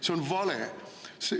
See on vale.